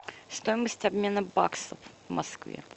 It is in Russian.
стоимость обмена баксов в москве